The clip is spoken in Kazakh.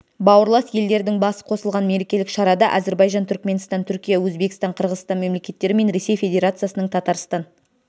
бауырлас елдердің басы қосылған мерекелік шарада әзірбайжан түрікменстан түркия өзбекстан қырғызстан мемлекеттері мен ресей федерациясының татарстан